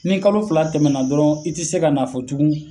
Ni kalo fila tɛmɛna dɔrɔn, i ti se ka fɔ tugun